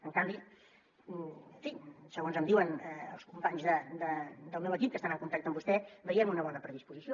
en canvi en fi segons em diuen els companys del meu equip que estan en contacte amb vostè veiem una bona predisposició